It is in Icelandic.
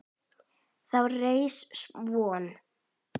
Þá reis von